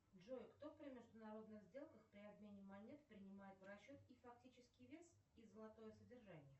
джой кто при международных сделках при обмене монет принимает в расчет их фактический вес и золотое содержание